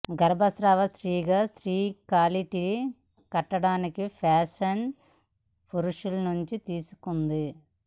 గర్భస్రావ స్త్రీగా స్త్రీ కాలిటిని కట్టడానికి ఫ్యాషన్ పురుషులు నుండి తీసుకుంది